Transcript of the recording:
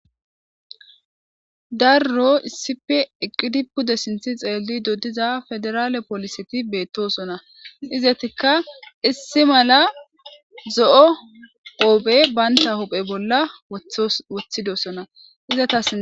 Daro issippe eqqidi pude sinthe silishe diza pederale poliseti beetosona. Izettikka issi mala zo'o qoobe bantta huphe bolla woththidodona.